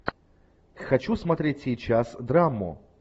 хочу смотреть сейчас драму